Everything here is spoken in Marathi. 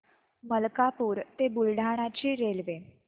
मलकापूर ते बुलढाणा ची रेल्वे